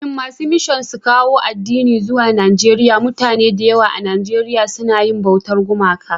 Kafin masu mishan suka kawo addini zuwa Naieriya, mutane da yawa a Nijeriya sun na yi bautar gumaka.